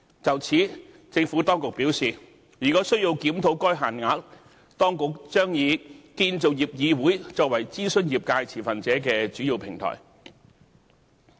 就此，政府當局表示，如果需要檢討該限額，當局將以建造業議會作為諮詢業界持份者的主要平台。